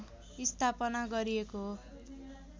स्थापना गरिएको हो